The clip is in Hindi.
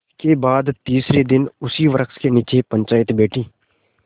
इसके बाद तीसरे दिन उसी वृक्ष के नीचे पंचायत बैठी